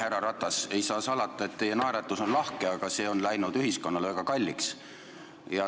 Härra Ratas, ei saa salata, et teie naeratus on lahke, aga see on läinud ühiskonnale väga kalliks maksma.